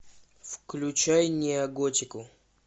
включай неоготику